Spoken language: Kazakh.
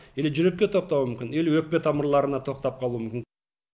или жүрекке тоқтауы мүмкін или өкпе тамырларына тоқтап қалуы мүмкін